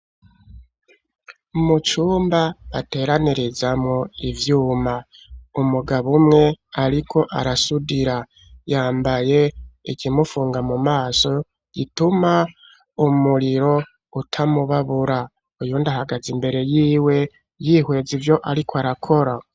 Mu cumba bateranirizamwo ivyuma umugabo umwe ariko arasudira yambaye ikimupfunga gituma umuriro utamubabura. Uwundi ahagaze mbere yiwe yihweza ivyo ariko arakora.